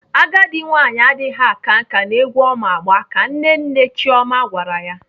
Agadi nwaanyị adịghị aka nkà n'egwu ọ ma agba ka Nne nne Chioma gwara ya.